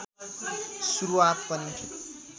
सुरुवात पनि